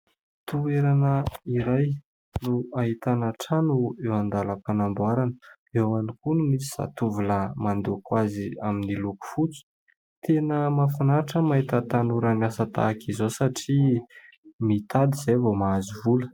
Toerana iray no ahitana trano eo andalam-panamboarana. Eo ihany koa no misy zatovolahy mandoko azy amin'ny loko fotsy. Tena mahafinaritra ny mahita tanora miasa tahaka izao satria mitady izay vao mahazo vola.